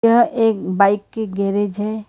यह एक बाइक की गैरेज है।